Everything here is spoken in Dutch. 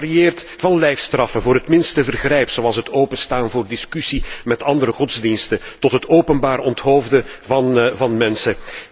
Dat varieert van lijfstraffen voor het minste vergrijp, zoals het openstaan voor discussie met andere godsdiensten, tot het openbaar onthoofden van mensen.